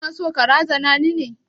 Kana so ka razana ni ne?